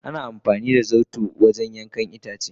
Ana amfani da zarto wajen yankan itace.